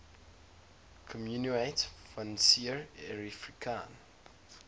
communaute financiere africaine